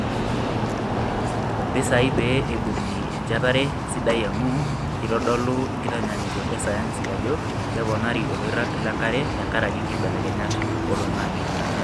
Mpisai pee eibungi enchetare siadi amu keitodolu nkitanyaanyukot e sayansi ajo keponari oloirag lenkare tenkaraki nkibelekenyat oloingange.